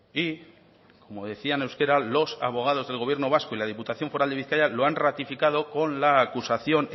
y como decía en euskera los abogados del gobierno vasco y de la diputación foral de bizkaia lo han ratificado con la acusación